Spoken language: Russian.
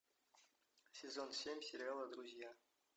сезон семь сериала друзья